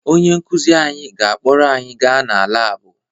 Onye nkụzi anyị ga-akpọrọ anyị gaa na laabụ